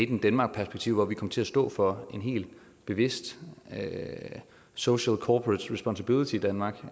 in denmark perspektiv hvor vi kom til at stå for en helt bevidst social corporate responsibility i danmark